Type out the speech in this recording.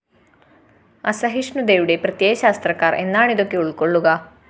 അസഹിഷ്ണുതയുടെ പ്രത്യയശാസ്ത്രക്കാര്‍ എന്നാണിതൊക്കെ ഉള്‍ക്കൊള്ളുക!!